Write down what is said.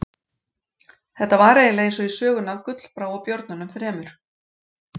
Þetta var eiginlega eins og í sögunni af Gullbrá og björnunum þremur.